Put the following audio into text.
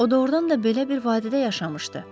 O doğurdan da belə bir vadidə yaşamışdı.